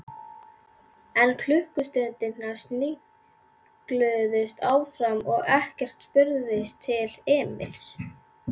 En klukkustundirnar snigluðust áfram og ekkert spurðist til Emils.